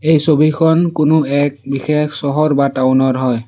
এই ছবিখন কোনো এক বিশেষ চহৰ বা টাউন ৰ হয়।